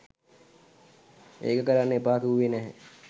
ඒක කරන්න එපා කිව්වේ නැහැ.